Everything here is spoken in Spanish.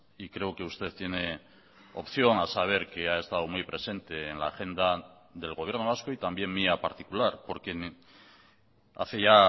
y creo que usted tiene opción a saber que ha estado muy presente en la agenda del gobierno vasco y también mía particular porque hace ya